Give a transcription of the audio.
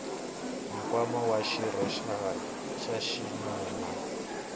nkwama wa xirho xa xinuna